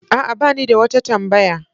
A'a, ba ni da wata tambaya.